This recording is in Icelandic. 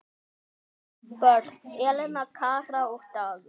Börn: Elena, Kara og Dagur.